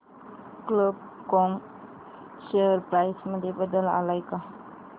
कल्प कॉम share price मध्ये बदल आलाय का